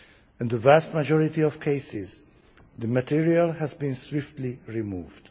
In the vast majority of cases the material has been swiftly removed.